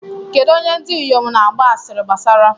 Kedụ onye ndị inyom na-agba asịrị gbasara?